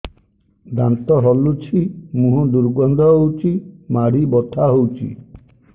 ଦାନ୍ତ ହଲୁଛି ମୁହଁ ଦୁର୍ଗନ୍ଧ ହଉଚି ମାଢି ବଥା ହଉଚି